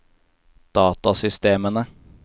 datasystemene